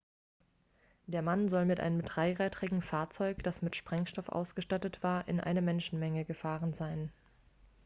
der mann soll mit einem dreirädrigem fahrzeug das mit sprengstoff ausgestattet war in eine menschenmenge gefahren sein